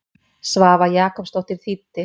Svava Jakobsdóttir þýddi.